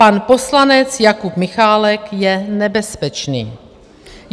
Pan poslanec Jakub Michálek je nebezpečný!